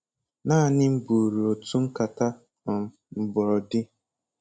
Naanị m buru otu nkata um mgbọrọdi.